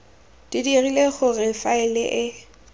di dirile gore faele e